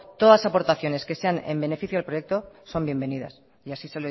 todas las aportaciones que sean en beneficio del proyecto son bienvenidas y así